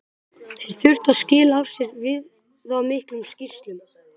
Þeir þurftu að skila af sér viðamiklum skýrslum.